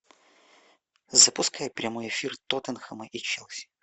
запускай прямой эфир тоттенхэма и челси